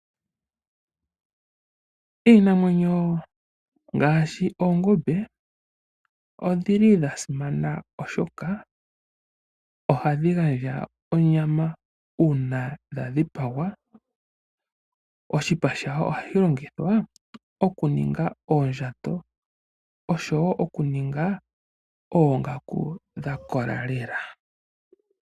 Iinamwenyo ngaashi oongombe, odhili dha simana oshoka, ohadhi gandja onyama uuna dha dhipagwa. Oshipa shadho ohashi longithwa okuninga oondjato, noshowo okuninga oongaku dhakola lela.